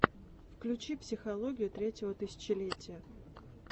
включи психологию третьего тысячелетия